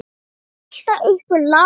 Það er alltaf einhver lasin.